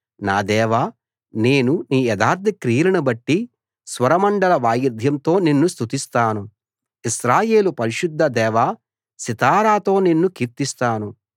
నా దేవా నేను నీ యథార్థ క్రియలను బట్టి స్వరమండల వాయిద్యంతో నిన్ను స్తుతిస్తాను ఇశ్రాయేలు పరిశుద్ధ దేవా సితారాతో నిన్ను కీర్తిస్తాను